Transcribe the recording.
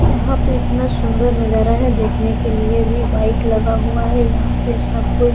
यहाँ पे इतना सुन्दर नजारा है देखने के लिए भी बाइक लगा हुआ है यहाँ पे सब कोई --